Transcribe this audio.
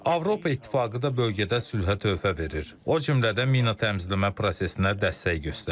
Avropa İttifaqı da bölgədə sülhə töhfə verir, o cümlədən mina təmizləmə prosesinə dəstək göstərir.